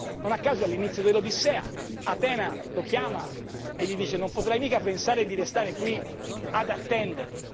Non a caso, all'inizio dell'Odissea, Atena lo chiama e gli dice Non potrai mica pensare di restare qui ad attendere.